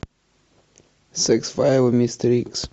секс файлы мистер икс